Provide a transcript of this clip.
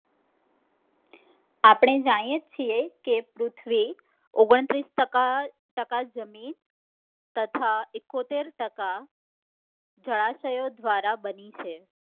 આપણે જાણીએ છીએ કે પૃથ્વી ઓગણત્રીસ ટકા જમીન તથા એકોતેર ટકા જળાશયો દ્વારા બની છે